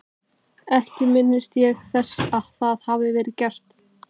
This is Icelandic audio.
Ekki minnist ég þess að það hafi verið gert.